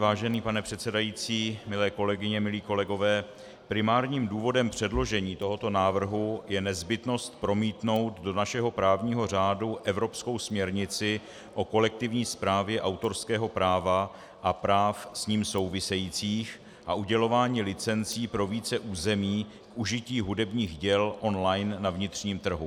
Vážený pane předsedající, milé kolegyně, milí kolegové, primárním důvodem předložení tohoto návrhu je nezbytnost promítnout do našeho právního řádu evropskou směrnici o kolektivní správě autorského práva a práv s ním souvisejících a udělování licencí pro více území k užití hudebních děl online na vnitřním trhu.